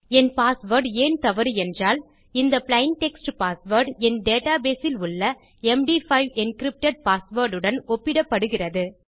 என் password ஏன் தவறு என்றால் இந்த பிளெயின் டெக்ஸ்ட் பாஸ்வேர்ட் என் டேட்டா பேஸ் இல் உள்ள md5 என்கிரிப்டட் பாஸ்வேர்ட் உடன் ஒப்பிடப்படுகிறது